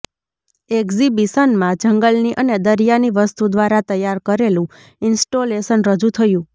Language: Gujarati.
એક્ઝિબિશનમાં જંગલની અને દરિયાની વસ્તુ દ્વારા તૈયાર કરેલું ઇન્સ્ટોલેશન રજૂ થયું